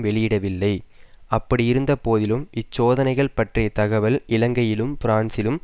வெளியிடவில்லை அப்படியிருந்தபோதிலும் இச்சோதனைகள் பற்றிய தகவல் இலங்கையிலும் பிரான்சிலும்